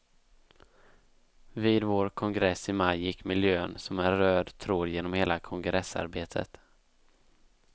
Vid vår kongress i maj gick miljön som en röd tråd genom hela kongressarbetet.